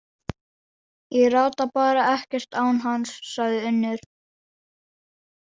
Ég rata bara ekkert án hans, sagði Unnur.